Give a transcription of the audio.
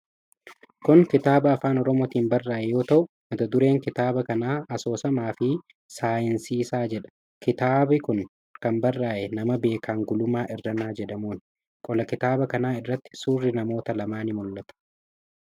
Kun kitaaba Afaan Oromootiin barraa'ee yoo ta'u, mata dureen kitaaba kanaa 'Asoosamaafi Saayinsiisaa' jedha. Kitaabi kun kan barraa'e nama Beekan Gulummaa Irranaa jedhamuuni. Qola kitaaba kana irratti suurri namoota lamaa ni mul'ata.